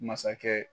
Masakɛ